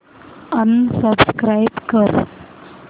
unsubscribe कर